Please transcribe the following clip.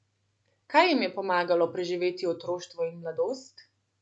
Kaj jim je pomagalo preživeti otroštvo in mladost?